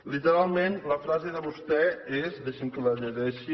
literalment la frase de vostè és deixi’m que la llegeixi